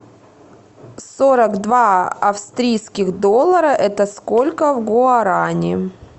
сорок два австрийских доллара это сколько в гуарани